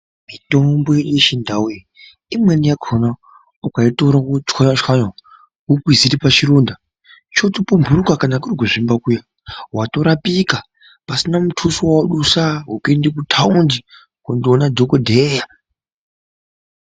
Mitombo yechindau iyi imweni yakona ukaitora votsvanya-tsvanya, vokwizire pachironda chotopumhuruka kana kuri kuzvimba kuya. Votorapika pasina mutuso vava dusa kuende kutaundi kundoona dhogodheya.